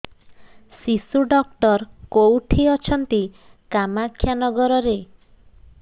ଶିଶୁ ଡକ୍ଟର କୋଉଠି ଅଛନ୍ତି କାମାକ୍ଷାନଗରରେ